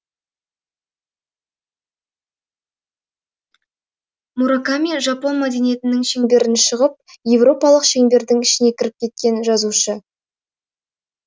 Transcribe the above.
мураками жапон мәдениетінің шеңберінен шығып еуропалық шеңбердің ішіне кіріп кеткен жазушы